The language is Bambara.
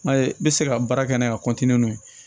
N'a ye n bɛ se ka baara kɛ n'a ye ka n'o ye